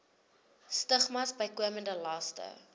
stigmas bykomende laste